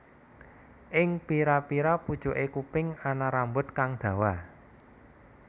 Ing pira pira pucuke kuping ana rambut kang dawa